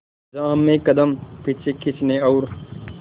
जहां हमें कदम पीछे खींचने और